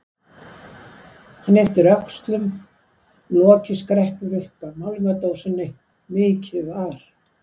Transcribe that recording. Hann ypptir öxlum, lokið skreppur upp af málningardósinni, mikið var!